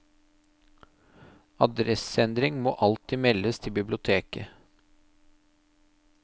Adresseendring må alltid meldes til biblioteket.